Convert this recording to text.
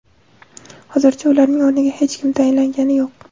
Hozircha ularning o‘rniga hech kim tayinlangani yo‘q.